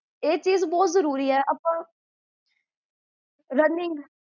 ਇਹ ਚੀਜ਼ ਬੋਹੋਤ ਜਰੂਰੀ ਹੈ ਸਹੀ ਗਲ ਹੈ ਬਿਲਕੁਲ ਬਾਈ ਤੇਈ ਸਾਲ